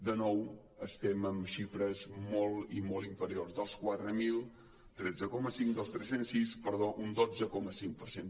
de nou estem en xifres molt i molt inferiors dels quatre mil tretze coma cinc dels tres cents i sis perdó un dotze coma cinc per cent